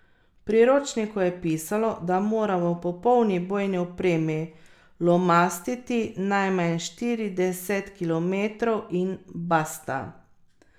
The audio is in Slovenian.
V priročniku je pisalo, da moramo v popolni bojni opremi lomastiti najmanj štirideset kilometrov in basta.